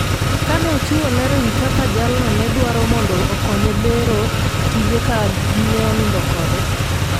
kane ochiwo ler e wi kaka jalno ne dwaro mondo okonye bero tije ka dine onindo kode